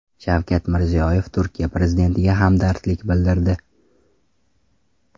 Shavkat Mirziyoyev Turkiya prezidentiga hamdardlik bildirdi.